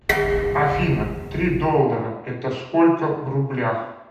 афина три доллара это сколько в рублях